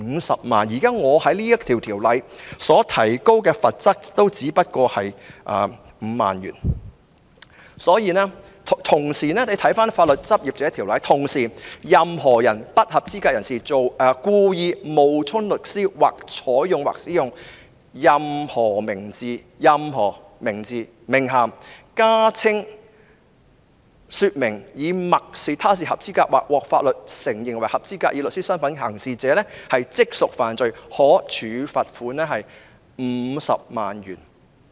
大家可以參看《法律執業者條例》，當中規定"任何不合資格人士故意冒充律師，或採用或使用任何名字、名銜、加稱或說明以默示他是合資格或獲法律承認為合資格以律師身分行事者，即屬犯罪......可處罰款 $500,000。